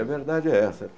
A verdade é essa.